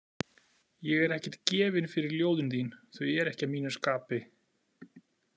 Ég er ekkert gefinn fyrir ljóðin þín, þau eru ekki að mínu skapi